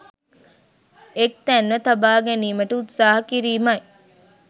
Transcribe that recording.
එක් තැන්ව තබා ගැනීමට උත්සාහ කිරීමයි.